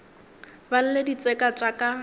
ba lle ditseka tša ka